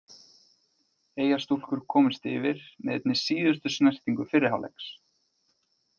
Eyjastúlkur komust yfir með einni síðustu snertingu fyrri hálfleiks.